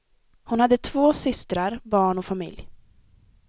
Hon har två systrar, barn och familj.